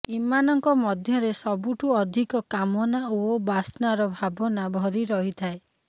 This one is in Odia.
ଏମାନଙ୍କ ମଧ୍ୟରେ ସବୁଠୁ ଅଧିକ କାମନା ଓ ବାତ୍ସାର ଭାବନା ଭରି ରହିଥାଏ